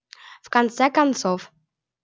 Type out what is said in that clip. в конце концов